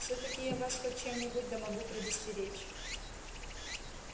всё-таки я вас хоть в чем-нибудь да могу предостеречь